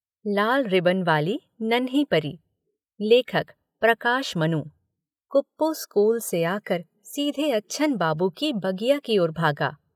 लाल ribbon वाली नन्ही परी लेखक प्रकाश मनु कुप्पू स्कूल से आकर सीधे अच्छन बाबू की बगिया की ओर भागा।